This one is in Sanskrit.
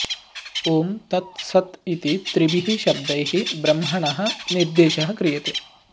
ॐ तत् सत् इति त्रिभिः शब्दैः ब्रह्मणः निर्देशः क्रियते